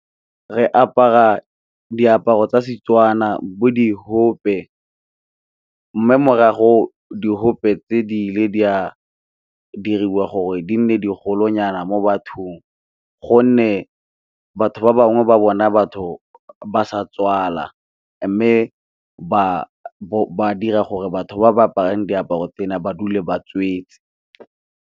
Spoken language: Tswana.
Re apara diaparo tsa Setswana bo di open, mme morago diope tse di ile di a diriwa gore di nne digolo nyana mo bathing, gonne batho ba bangwe ba bona batho ba sa tswala mme ba dira gore batho ba ba aparang diaparo tsena ba dule ba tswetse.